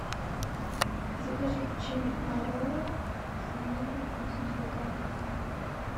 закажи печенье орео с ванильным вкусом сто грамм